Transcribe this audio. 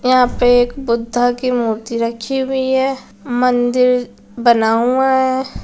यहाँ पे एक बुद्धा की मूर्ति रखी हुई है मंदिर बना हुआ है।